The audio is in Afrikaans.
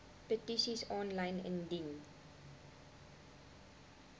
petisies aanlyn indien